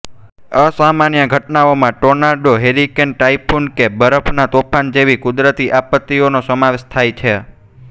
અસામાન્ય ઘટનાઓમાં tornado hurricane typhoon કે બરફનાં તોફાન જેવી કુદરતી આપત્તિઓનો સમાવેશ થાય છે